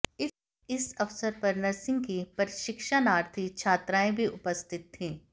इस अवसर पर नर्सिंग की प्रशिक्षाणार्थी छात्राएं भी उपस्थित थीं